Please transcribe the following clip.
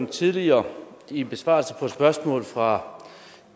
tidligere i en besvarelse på et spørgsmål fra